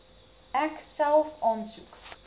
ek self aansoek